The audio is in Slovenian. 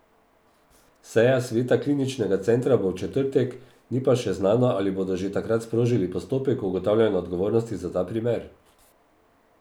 Seja sveta kliničnega centra bo v četrtek, ni pa še znano, ali bodo že takrat sprožili postopek ugotavljanja odgovornosti za ta primer.